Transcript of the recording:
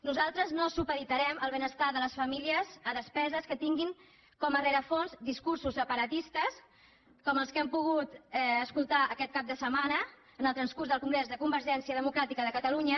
nosaltres no supeditarem el ben·estar de les famílies a despeses que tinguin com a rerefons discursos separatistes com els que hem po·gut escoltar aquest cap de setmana en el transcurs del congrés de convergència democràtica de catalunya